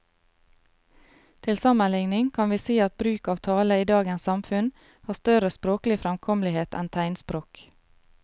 Til sammenligning kan vi si at bruk av tale i dagens samfunn har større språklig fremkommelighet enn tegnspråk.